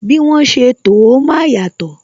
Bí wọn ṣe to ó, máa yàtò